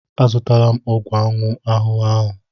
Azụtala m ọgwụ ụmụ ahụhụ ahụ.